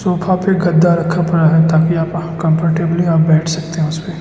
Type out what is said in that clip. पे गद्दा रखा पड़ा है ताकि कंफर्टेबली आप बैठ सकते हैं उस पे।